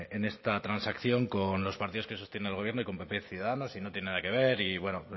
en esta transacción con los partidos que sostienen al gobierno y con pp ciudadanos y no tiene nada que ver y bueno